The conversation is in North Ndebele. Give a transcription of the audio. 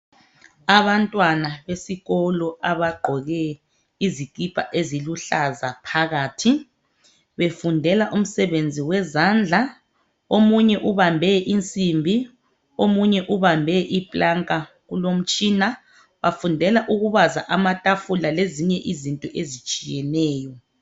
Abantwana besikolo abagqoke izikipa eziluhlaza phakathi befundela umsebenzi wezandla omunye ubambe insimbi omunye ubambe i planka kulomtshina bafundela ukubaza amatafula lezinye izinto ezitshiyeneyo.